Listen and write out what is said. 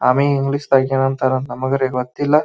ಆಮಿ English ದಾಗ ಏನಂತಾರ ನಮಗರೆ ಗೊತ್ತಿಲ್ಲ.